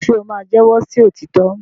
ṣe o ma jẹwọ sí òtítọ?